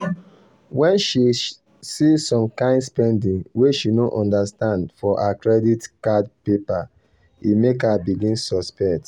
when she see some kain spending wey she no understand for her credit card paper e make her begin suspect.